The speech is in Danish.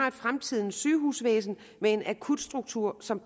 et fremtidens sygehusvæsen med en akutstruktur som